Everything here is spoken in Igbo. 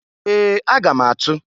Ee! Aga m atụ.